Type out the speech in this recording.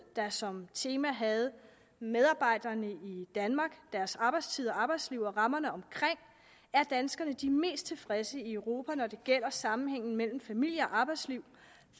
der som tema havde medarbejderne i danmark deres arbejdstid arbejdsliv og rammerne omkring er danskerne de mest tilfredse i europa når det gælder sammenhængen mellem familie og arbejdsliv